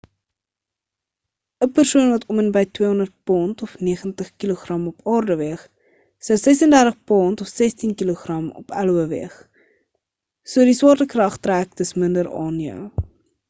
‘n persoon wat om en by 200 pond 90kg op aarde weeg sou 36 pond 16kg op io weeg. so die swaartekrag trek dus minder aan jou